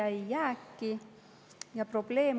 Siis tekkis jääk.